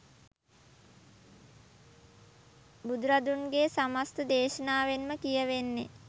බුදුරදුන්ගේ සමස්ත දේශනාවෙන්ම කියැවෙන්නේ